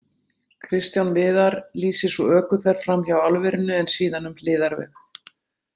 Kristján Viðar lýsir svo ökuferð fram hjá álverinu en síðan um hliðarveg.